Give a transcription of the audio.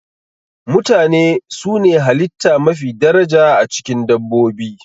Mutane su ne halitta mafi daraja, a cikin dabbobi.